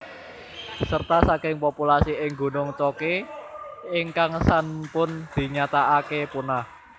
Serta saking populasi ing gunung Choke ingkang sanpun dinyataake punah